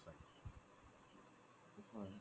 হয়